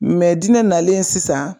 Mɛ dinɛ nalen sisan